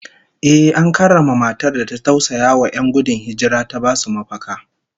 Ehh, an karrama matar da ta tausayawa 'yan gudun hijira ta basu mafaka